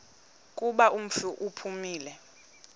kuba umfi uphumile